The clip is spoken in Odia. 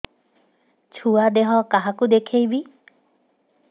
ଛୁଆ ଦେହ କାହାକୁ ଦେଖେଇବି